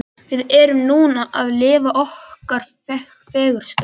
Við erum núna að lifa okkar fegursta.